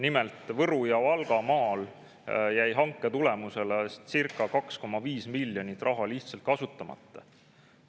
Nimelt, Võru- ja Valgamaal jäi hanke tulemusena circa 2,5 miljonit eurot lihtsalt kasutamata.